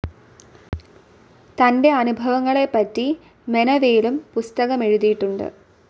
തന്റെ അനുഭവങ്ങളെപ്പറ്റി മെനവേലും പുസ്തകമെഴുതീട്ടുണ്ട്.